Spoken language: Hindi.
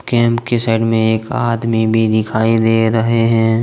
केम्प के साइड में एक आदमी भी दिखाई दे रहे हैं।